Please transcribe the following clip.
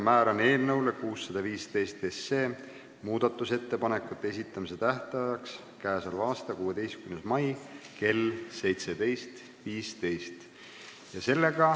Määran eelnõu 615 muudatusettepanekute esitamise tähtajaks k.a 16. mai kell 17.15.